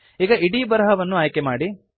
ಈಗ ಇಡೀ ಬರಹವನ್ನು ಆಯ್ಕೆಮಾಡಿ